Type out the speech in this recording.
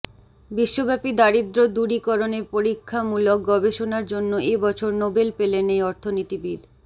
বিশ্বব্যাপী দারিদ্র্য দূরীকরণে পরীক্ষা মূলক গবেষণার জন্য এ বছর নোবেল পেলেন এই অর্থনীতিবিদ